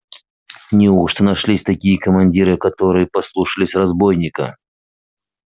неужто нашлись такие командиры которые послушались разбойника